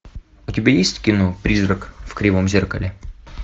у тебя есть кино призрак в кривом зеркале